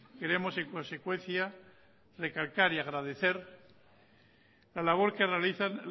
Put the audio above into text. queremos en consecuencia recalcar y agradecer la labor que realizan